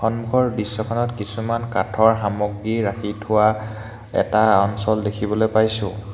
সন্মুখৰ দৃশ্যখনত কিছুমান কাঠৰ সামগ্ৰী ৰাখি থোৱা এটা অঞ্চল দেখিবলৈ পাইছোঁ।